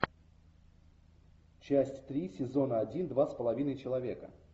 часть три сезона один два с половиной человека